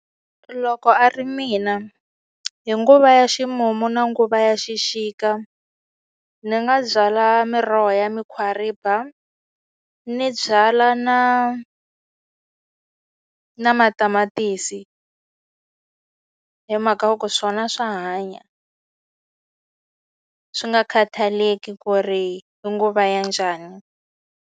Loko a ri mina hi nguva ya ximumu na nguva ya xixika, ni nga byala miroho ya mukhwariba, ni byala na na matamatisi. Hi mhaka yo ku swona swa hanya swi nga khataleki ku ri i nguva ya njhani.